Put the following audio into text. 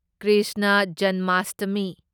Krishna Janmashtami